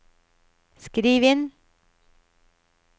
skriv inn